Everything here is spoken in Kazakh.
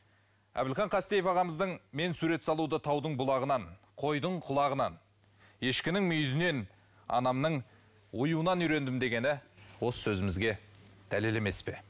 әбілхан қастеев ағамыздың мен сурет салуды таудың бұлағынан қойдың құлағынан ешкінің мүйізінен анамның оюынан үйрендім дегені осы сөзімізге дәлел емес пе